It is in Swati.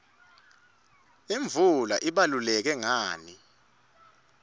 imvula ibaluleke ngani